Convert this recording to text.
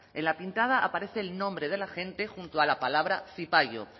en la pintada aparece el nombre del agente junto a la palabra zipayo